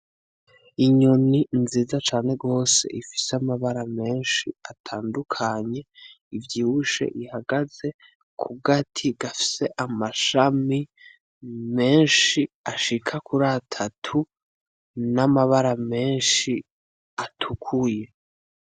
Inyoni nziza cane gose ifise amabara menshi atandukanye, ivyibushe ihagaze ku gati gafise amashami menshi ashika kuri atatu, n'amabara menshi atukuye.